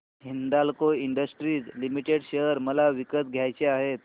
Hindalco industries limited share मला विकत घ्यायचे आहेत